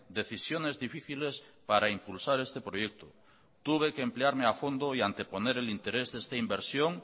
decisiones difíciles para impulsar este proyecto tuve que emplearme a fondo y anteponer el interés de esta inversión